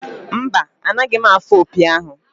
Mba, anaghị m afụ opi ahụ.